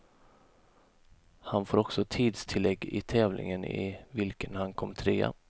Han får också tidstillägg i tävlingen i vilken han kom trea.